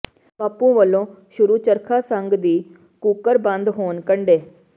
ਬਾਪੂ ਵੱਲੋਂ ਸ਼ੁਰੂ ਚਰਖਾ ਸੰਘ ਦੀ ਘੂਕਰ ਬੰਦ ਹੋਣ ਕੰਢੇ